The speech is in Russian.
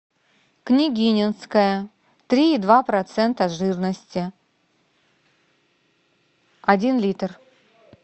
княгининское три и два процента жирности один литр